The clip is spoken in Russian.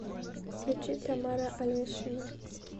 включи тамара алешина